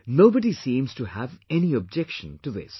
Nobody seems to have any objection to this